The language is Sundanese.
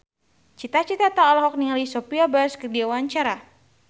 Cita Citata olohok ningali Sophia Bush keur diwawancara